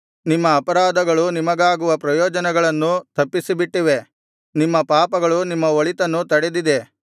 ನಿಮ್ಮ ಅಪರಾಧಗಳು ನಿಮಗಾಗುವ ಪ್ರಯೋಜನಗಳನ್ನು ತಪ್ಪಿಸಿಬಿಟ್ಟಿವೆ ನಿಮ್ಮ ಪಾಪಗಳು ನಿಮ್ಮ ಒಳಿತನ್ನು ತಡೆದಿದೆ